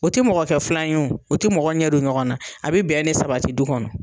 O tɛ mɔgɔ kɛ filan ye o o tɛ mɔgɔ ɲɛ don ɲɔgɔn na a bɛ bɛn ne sabati du kɔnɔ.